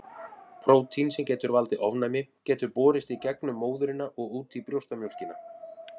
Prótín sem getur valdið ofnæmi getur borist í gegnum móðurina og út í brjóstamjólkina.